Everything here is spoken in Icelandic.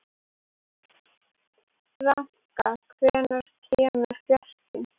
Ranka, hvenær kemur fjarkinn?